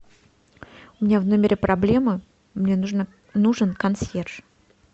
у меня в номере проблема мне нужен консьерж